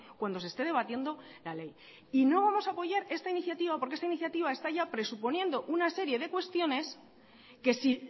cuando se esté debatiendo la ley y no vamos a apoyar esta iniciativa porque esta iniciativa está ya presuponiendo una serie de cuestiones que si